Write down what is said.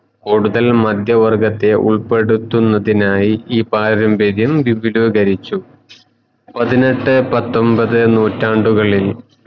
കൂടുതൽ മധ്യ വർഗത്തെ ഉൾപെടുത്തുന്നതിനായ്‌ ഈ പാരമ്പര്യം വിപുലീകരിച്ചു പതിനേട്ടെ പത്തൊമ്പത്തെ നൂറ്റാണ്ടുകളിൽ